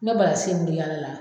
mun bɛ yaal la